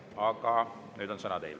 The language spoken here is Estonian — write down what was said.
Aga nüüd on sõna teil.